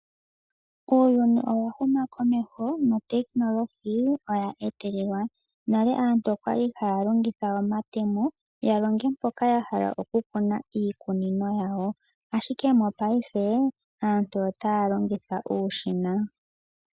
Uuyuni owa huma komeho, nale aantu okwali haya longitha omatemo yalonge mpoka yahala oku kuna iikunino yawo ashike mopaife aantu otaya longitha uushina.